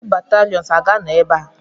Ndị bataliọnụ ha ga-anọ ebe a?